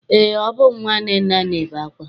Eé, ọ bụ nnwa Nnenna na-ebe akwa.